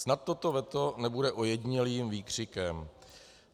Snad toto veto nebude ojedinělým výkřikem.